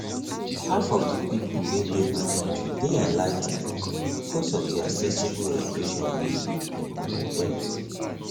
half of the people wey dey my country dey enligh ten ed because of the accessible education we um get